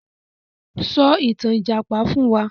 Sọ ìtàn Ìjàpá fún wa!